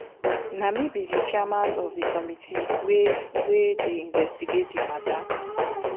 na me be di chairman of di committee wey wey dey investigate di matter